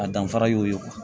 A danfara y'o ye